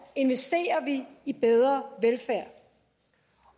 investerer vi i bedre velfærd